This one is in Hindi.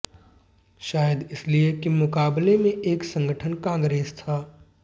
शायद इसलिए कि मुकाबले में एक संगठन कांग्रेस था